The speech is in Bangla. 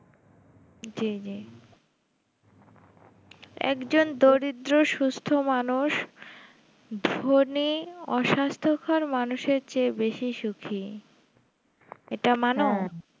জি জি একজন দরিদ্র সুস্থ মানুষ ধনী অস্বাস্থ্যকর মানুষের থেকে বেশি সুখী এটা মানো